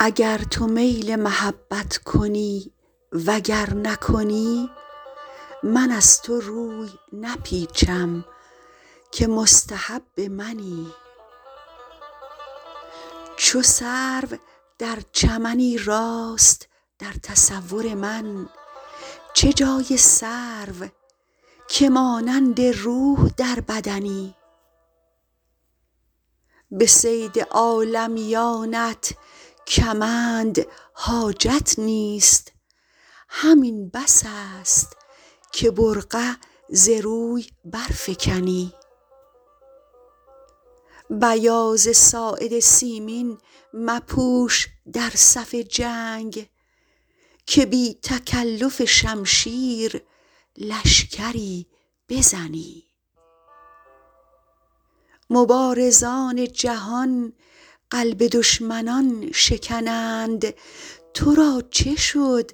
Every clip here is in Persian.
اگر تو میل محبت کنی و گر نکنی من از تو روی نپیچم که مستحب منی چو سرو در چمنی راست در تصور من چه جای سرو که مانند روح در بدنی به صید عالمیانت کمند حاجت نیست همین بس است که برقع ز روی برفکنی بیاض ساعد سیمین مپوش در صف جنگ که بی تکلف شمشیر لشکری بزنی مبارزان جهان قلب دشمنان شکنند تو را چه شد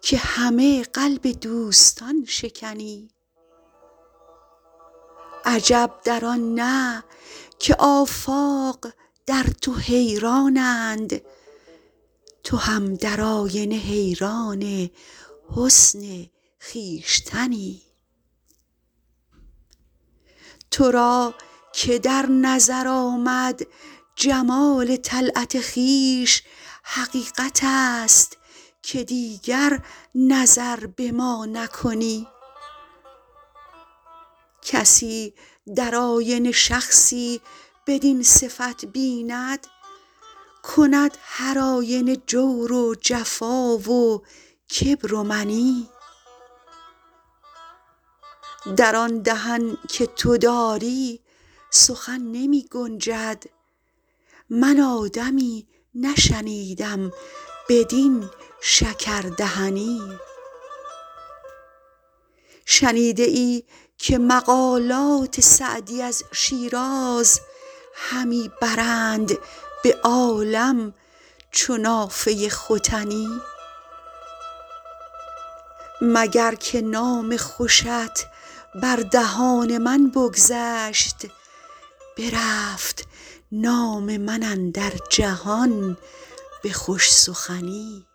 که همه قلب دوستان شکنی عجب در آن نه که آفاق در تو حیرانند تو هم در آینه حیران حسن خویشتنی تو را که در نظر آمد جمال طلعت خویش حقیقت است که دیگر نظر به ما نکنی کسی در آینه شخصی بدین صفت بیند کند هرآینه جور و جفا و کبر و منی در آن دهن که تو داری سخن نمی گنجد من آدمی نشنیدم بدین شکردهنی شنیده ای که مقالات سعدی از شیراز همی برند به عالم چو نافه ختنی مگر که نام خوشت بر دهان من بگذشت برفت نام من اندر جهان به خوش سخنی